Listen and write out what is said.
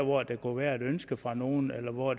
hvor der kunne være et ønske fra nogle eller hvor